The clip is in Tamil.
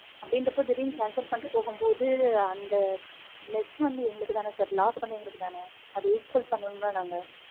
அப்டின்றபோ திடீர்னு cancel பண்ணிட்டு போகும்போது, அந்த less வந்து எங்களுக்கு தானே sir. Loss வந்து எங்களுக்கு தானே. அத equal பன்னனும்ல நாங்க.